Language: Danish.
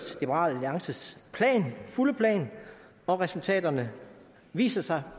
liberal alliances fulde plan og at resultaterne viser sig